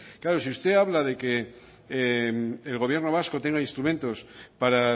claro si usted habla de que el gobierno vasco tenga instrumentos para